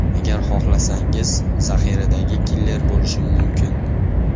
Agar xohlasangiz, zaxiradagi killer bo‘lishim mumkin.